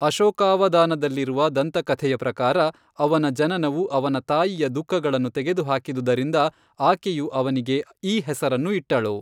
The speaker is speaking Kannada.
ಅಶೋಕಾವದಾನದಲ್ಲಿರುವ ದಂತಕಥೆಯ ಪ್ರಕಾರ, ಅವನ ಜನನವು ಅವನ ತಾಯಿಯ ದುಃಖಗಳನ್ನು ತೆಗೆದುಹಾಕಿದುದರಿಂದ ಆಕೆಯು ಅವನಿಗೆ ಈ ಹೆಸರನ್ನು ಇಟ್ಟಳು.